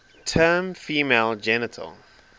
term female genital